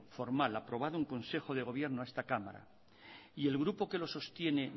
formal aprobado en consejo de gobierno a esta cámara y el grupo que lo sostiene